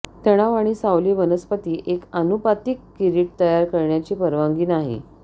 तणाव आणि सावली वनस्पती एक आनुपातिक किरीट तयार करण्याची परवानगी नाही